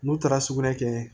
N'u taara sugunɛ kɛ